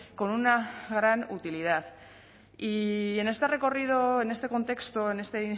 con una gran utilidad y en este recorrido en este contexto en este